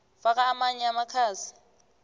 faka amanye amakhasi